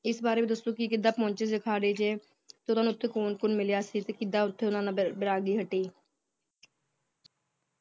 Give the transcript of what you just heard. ਇਸ ਬਾਰੇ ਵੀ ਦੱਸੋ ਕੇ ਕਿਦਾਂ ਪਹੁੰਚੇ ਸੀ ਅਖਾੜੇ ਚ ਤੇ ਓਦੋਂ ਓਥੇ ਓਹਨਾ ਨੂੰ ਕੌਣ ਕੌਣ ਮਿਲਿਆ ਸੀ ਤੇ ਕਿਦਾਂ ਓਥੇ ਉਹਨਾਂ ਨਾਲ ਵੈ ਵੈਰਾਗੀ ਹਟੀ